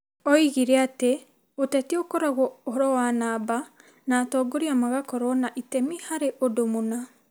Oigire atĩ ũteti ũkoragwo ũhoro wa namba, na atongoria magakorũo na itemi harĩ ũndũ mũna.